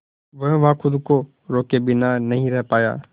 वह वहां खुद को रोके बिना नहीं रह पाया